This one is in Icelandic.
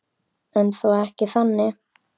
En þó ekki þannig.